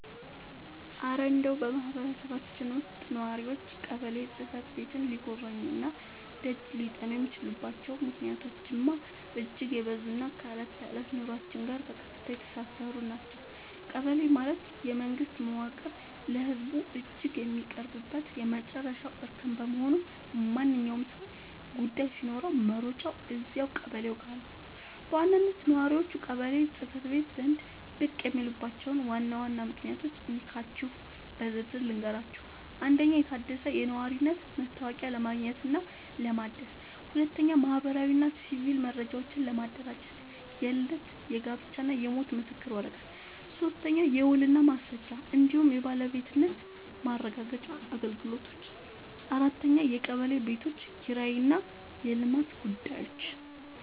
እረ እንደው በማህበረሰባችን ውስጥ ነዋሪዎች ቀበሌ ጽሕፈት ቤትን ሊጎበኙና ደጅ ሊጠኑ የሚችሉባቸው ምክንያቶችማ እጅግ የበዙና ከዕለት ተዕለት ኑሯችን ጋር በቀጥታ የተሳሰሩ ናቸው! ቀበሌ ማለት የመንግስት መዋቅር ለህዝቡ እጅግ የሚቀርብበት የመጨረሻው እርከን በመሆኑ፣ ማንኛውም ሰው ጉዳይ ሲኖረው መሮጫው እዚያው ቀበሌው ጋ ነው። በዋናነት ነዋሪዎች ቀበሌ ጽ/ቤት ዘንድ ብቅ የሚሉባቸውን ዋና ዋና ምክንያቶች እንካችሁ በዝርዝር ልንገራችሁ፦ 1. የታደሰ የነዋሪነት መታወቂያ ለማግኘትና ለማደስ 2. ማህበራዊና ሲቪል መረጃዎችን ለማደራጀት (የልደት፣ የጋብቻና የሞት ምስክር ወረቀት) 3. የውልና ማስረጃ እንዲሁም የባለቤትነት ማረጋገጫ አገልግሎቶች 4. የቀበሌ ቤቶች ኪራይና የልማት ጉዳዮች